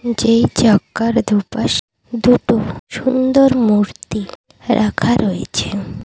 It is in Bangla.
এই চাক্কার দুপাশ দুটো সুন্দর মূর্তি রাখা রয়েছে।